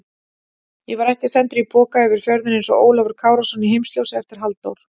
Ég var ekki sendur í poka yfir fjörðinn einsog Ólafur Kárason í Heimsljósi eftir Halldór